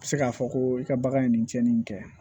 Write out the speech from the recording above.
Se k'a fɔ ko i ka bagan ye nin tiɲɛni kɛ